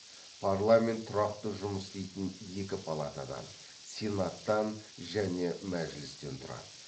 парламент тұрақты жұмыс істейтін екі палатадан сенаттан және мәжілістен тұрады